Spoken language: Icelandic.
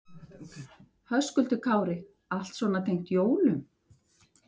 Höskuldur Kári: Allt svona tengt jólum?